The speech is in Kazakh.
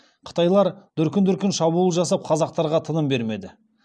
қытайлар дүркін дүркін шабуыл жасап қазақтарға тыным бермеді